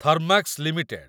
Thermax limited